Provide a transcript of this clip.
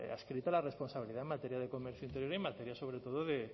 adscrita la responsabilidad en materia de comercio interior y en materia sobre todo de